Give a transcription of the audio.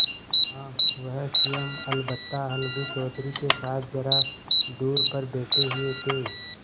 हाँ वह स्वयं अलबत्ता अलगू चौधरी के साथ जरा दूर पर बैठे हुए थे